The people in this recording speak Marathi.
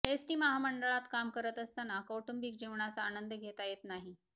एसटी महामंडळात काम करत असताना कौटुंबिक जीवनाचा आनंद घेता येत नाही